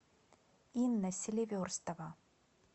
инна селиверстова